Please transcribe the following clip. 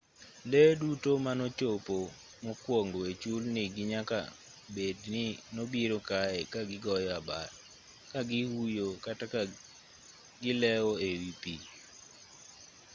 lee duto manochopo mokwongo e chulni gi nyaka bed ni nobiro kae ka gigoyo abal ka gihuyo kata ka gileo e wi pi